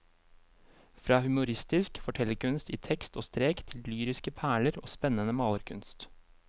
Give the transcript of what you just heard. Fra humoristisk fortellerkunst i tekst og strek til lyriske perler og spennende malerkunst.